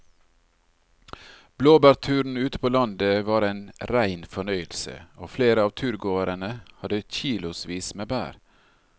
Blåbærturen ute på landet var en rein fornøyelse og flere av turgåerene hadde kilosvis med bær.